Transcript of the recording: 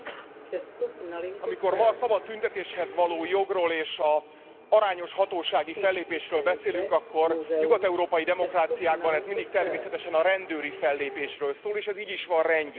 Tisztelt Elnök asszony! Amikor ma a szabad tüntetéshez való jogról és az arányos hatósági fellépésről beszélünk, akkor nyugat európai demokráciákban ez mindig természetesen a rendőri fellépésről szól, és ez így is van rendjén.